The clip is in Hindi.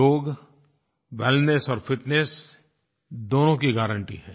योग वेलनेस और फिटनेस दोनों की गारंटी है